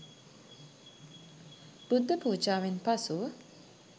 බුද්ධ පුජාවෙන් පසු